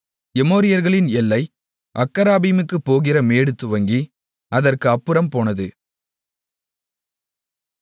எமோரியர்களின் எல்லை அக்கராபீமுக்குப் போகிற மேடு துவங்கி அதற்கு அப்புறமும் போனது